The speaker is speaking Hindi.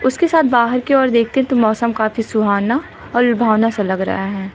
उसके साथ बाहर की ओर देखते तो मौसम काफी सुहावना और लुभावना सा लग रहा है।